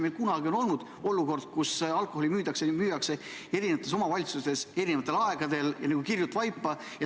Meil oli kunagi olukord, kus alkoholi müüdi eri omavalitsustes eri aegadel, see meenutas kirjut vaipa.